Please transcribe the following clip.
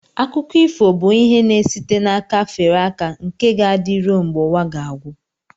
Akụkọ ifo bụ ihe na-esite n'aka fere aka nke ga-adị ruo mgbe ụwa ga-agwụ